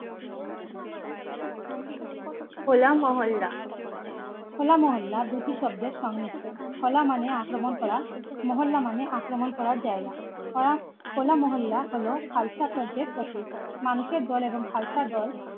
হোলা মহল্লা দুটি শব্দে সংমিশ্রণ হো লা মানে আক্রমণ করা মহল্লা মানে আক্রমণ করার জায়গা হো লা মহল্লা হল খালসা শব্দের প্রতীক মানুষের দল এবং খালসার দল